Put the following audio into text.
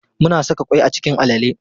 Muna saka ƙwai a cikin alale.